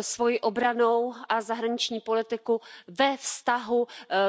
svoji obrannou a zahraniční politiku ve vztahu k multilateralismu,